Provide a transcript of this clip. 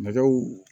Nɛgɛw